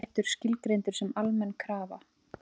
Kaupréttur skilgreindur sem almenn krafa